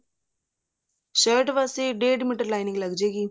shirt ਵਾਸਤੇ ਡੇੜ metre lining ਲੱਗ ਜੇਗੀ